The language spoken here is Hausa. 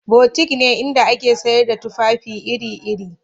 Butik ne inda ake sayar da tufafi iri-iri